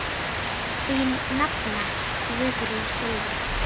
Þín nafna, Guðrún Silja.